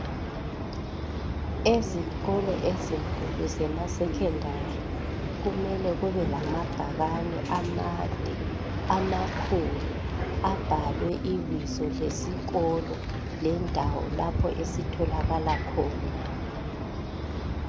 ezikolo ezinkulu zema secondary kumele kube lamabhakane amade amakhulu abhalwe ibizo lesikolo lendawo lapho esitholakala khona